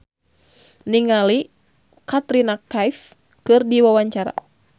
Tio Pakusadewo olohok ningali Katrina Kaif keur diwawancara